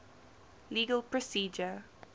legal procedure